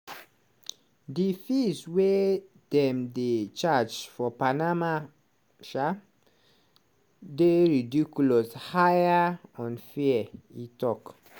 "di fees wey dem dey charge for panama um dey ridiculous higher unfair" e tok.